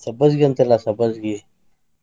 ಸಬ್ಬಸ್ಗೀ ಅಂತಾರ್ಲಾ ಸಬ್ಬಸ್ಗಿ.